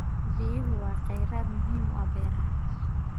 Biyuhu waa kheyraad muhiim u ah beeraha.